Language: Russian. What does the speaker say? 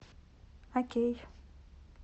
окей